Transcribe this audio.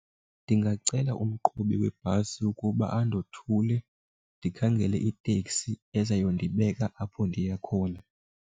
Ndingacela umqhubi webhasi ukuba andothule ndikhangele iitekisi ezayondibeka apho ndiya khona.